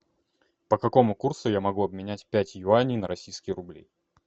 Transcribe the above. по какому курсу я могу обменять пять юаней на российские рубли